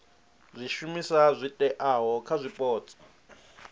zwishumiswa zwi oeaho kha zwipotso